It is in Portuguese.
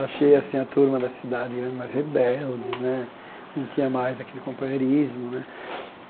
Achei assim a turma da grande cidade mais rebelde né, não tinha mais aquele companheirismo né.